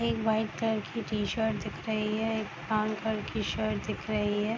एक white colour की T shirt दिख रही है एक ब्राउन कलर की शर्ट दिख रही है।